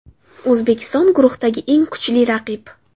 O‘zbekiston guruhdagi eng kuchli raqib.